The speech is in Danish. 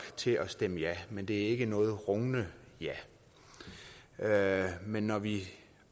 til at stemme ja men det er ikke noget rungende ja men når vi